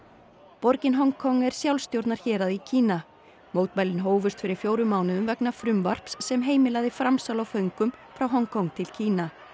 borgin Hong Kong er í Kína mótmælin hófust fyrir fjórum mánuðum vegna frumvarps sem heimilaði framsal á föngum frá Hong Kong til Kína